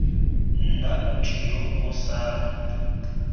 nna motho yo o sa